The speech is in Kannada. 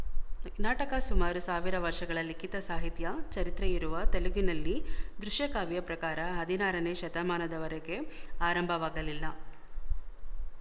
ನಾಟಕ ಸುಮಾರು ಸಾವಿರ ವರ್ಶಗಳ ಲಿಖಿತ ಸಾಹಿತ್ಯ ಚರಿತ್ರೆಯಿರುವ ತೆಲುಗಿನಲ್ಲಿ ದೃಶಯಕಾವ್ಯ ಪ್ರಕಾರ ಹದಿನಾರನೇ ಶತಮಾನದವರೆಗೆ ಆರಂಭವಾಗಲಿಲ್ಲ